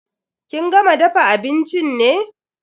Kin gama dafa abincin ne?